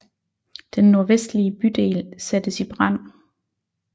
Den nordvestlige bydel sattes i brand